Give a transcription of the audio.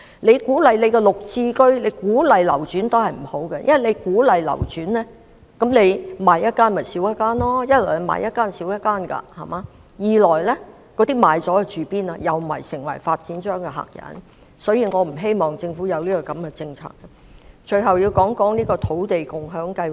政府鼓勵綠表置居計劃及鼓勵流轉也不好：一來，售出一個單位便少一個單位；二來，出售單位的人又會成為發展商的客人。所以，我不希望政府推行這種政策。最後，我要談土地共享先導計劃。